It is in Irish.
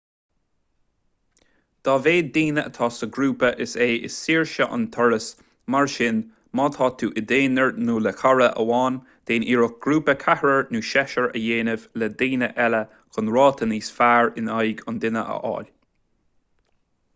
dá mhéad daoine atá sa ghrúpa is ea is saoire an turas mar sin má tá tú i d'aonar nó le cara amháin déan iarracht grúpa ceathrair nó seisir a dhéanamh le daoine eile chun ráta níos fearr in aghaidh an duine a fháil